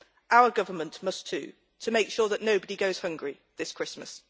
Our government must too, to make sure that nobody goes hungry this Christmas.